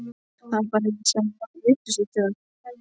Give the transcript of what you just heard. Það var bara ég sem var vitlaus í það.